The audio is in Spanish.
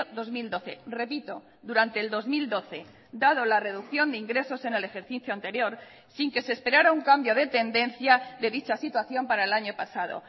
dos mil doce repito durante el dos mil doce dado la reducción de ingresos en el ejercicio anterior sin que se esperara un cambio de tendencia de dicha situación para el año pasado